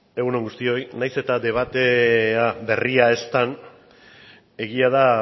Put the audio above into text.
egun on guztioi nahiz eta debatea berria ez den egia da